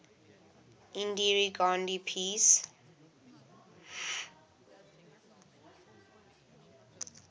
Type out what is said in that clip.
indira gandhi peace